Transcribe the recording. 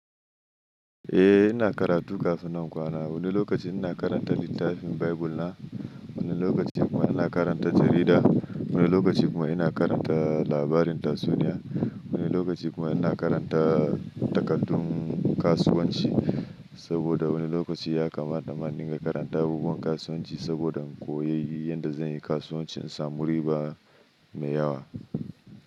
Eh ina karatu kafin nan kwana. Wani lokaci ina karanta littafin Bible na, wani lokaci kuma ina karanta jarida, wani lokaci kuma ina karanta labarin tatsuniya, wani lokaci kuma ina karanta takardun kasuwanci saboda wani lokaci ya kamata manin ka karanta abubuwan kasuwanci saboda in koyi yadda zan yi kasuwanci in samu riba mai yawa.